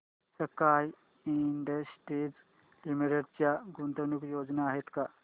sky Industries Limited च्या गुंतवणूक योजना आहेत का